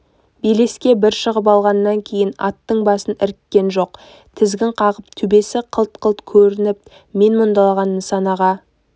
белеске бір шығып алғаннан кейін аттың басын іріккен жоқ тізгін қағып төбесі қылт-қылт көрініп мен мұндалаған нысанаға